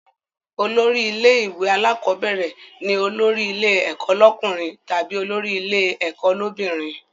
Olórí ilé ìwé alákọ́bẹ̀rẹ̀ ni olórí ilé ẹ̀kọ́ lọ́kùnrin tàbí olórí ilé ẹ̀kọ́ l'óbìnrin